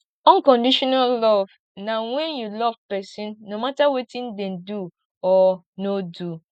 unconditional love na wen you love person no mata wetin dem do or no do